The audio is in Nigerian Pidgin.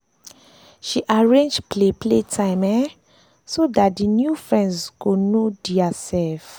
she arrange play play time um so dat d new friends go know dia self